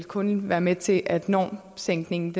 kun vil være med til at normsænkningen